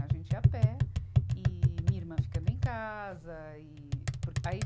A gente ia a pé, e minha irmã ficando em casa. e porque aí